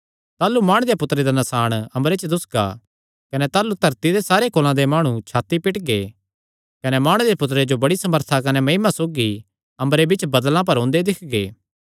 ताह़लू माणु दे पुत्तरे दा नसाण अम्बरे च दुस्सगा कने ताह़लू धरती दे सारे कुल़ां दे माणु छाती पीटगे कने माणु दे पुत्तर जो बड्डी सामर्था कने महिमा सौगी अम्बरे बिच्च बदल़ां पर ओंदे दिक्खगे